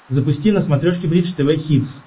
запусти на смотрешке бридж тв хитс